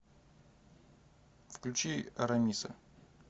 включи арамиса